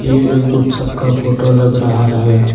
ये एक उत्सव का फोटो लग रहा है।